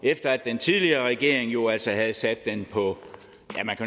efter at den tidligere regering jo altså havde sat den på